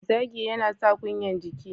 Zagi yana sa kunyan jiki.